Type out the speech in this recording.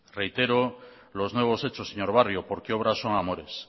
reitero los nuevos hechos señor barrio porque obras son amores